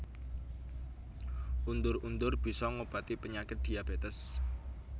Undur undur bisa ngobati penyakit diabetes